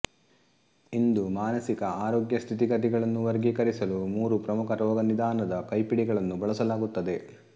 ಇಂದು ಮಾನಸಿಕ ಆರೋಗ್ಯ ಸ್ಥಿತಿಗತಿಗಳನ್ನು ವರ್ಗೀಕರಿಸಲು ಮೂರು ಪ್ರಮುಖ ರೋಗನಿದಾನದ ಕೈಪಿಡಿಗಳನ್ನು ಬಳಸಲಾಗುತ್ತದೆ